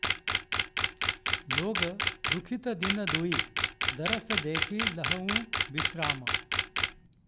लोग दुखित दिन दुइ दरस देखि लहहुँ बिश्राम